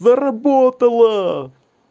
заработала